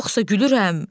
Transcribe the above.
Yoxsa gülürəm?